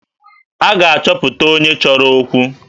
A ga-achọpụta onye chọrọ okwu?